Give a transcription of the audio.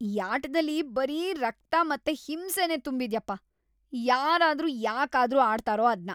ಈ ಆಟ್ದಲ್ಲಿ ಬರೀ ರಕ್ತ ಮತ್ತೆ ಹಿಂಸೆನೇ ತುಂಬಿದ್ಯಪ್ಪ. ಯಾರಾದ್ರೂ ಯಾಕಾದ್ರೂ ಆಡ್ತಾರೋ ಅದ್ನ?